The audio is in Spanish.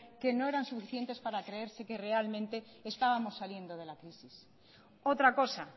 que no eran suficientes para creerse que realmente estábamos saliendo de la crisis otra cosa